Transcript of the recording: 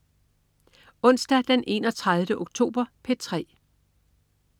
Onsdag den 31. oktober - P3: